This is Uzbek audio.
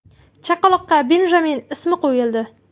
Chaqaloqqa Benjamin ismi qo‘yildi.